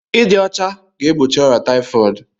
Ịdị ọcha ga-egbochi ọrịa tayifọọdu